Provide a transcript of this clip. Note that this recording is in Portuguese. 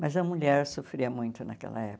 Mas a mulher sofria muito naquela época.